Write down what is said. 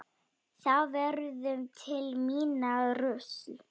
Þá verður til minna rusl.